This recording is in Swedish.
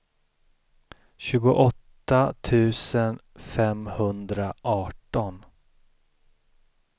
tjugoåtta tusen femhundraarton